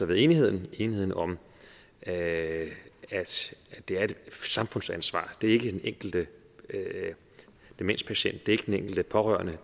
ved enigheden enigheden om at det er et samfundsansvar det er ikke den enkelte demenspatient det er ikke den enkelte pårørende